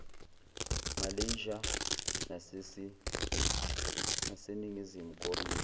malaysia naseningizimu koriya